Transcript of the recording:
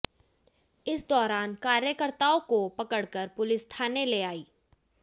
इस दौरान कार्यकर्ताओं को पकड़कर पुलिस थाने ले आई